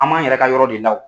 An m'an yɛrɛ ka yɔrɔ de la